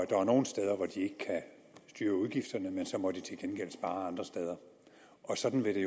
der er nogle steder hvor de ikke kan styre udgifterne men så må de til gengæld spare andre steder og sådan vil det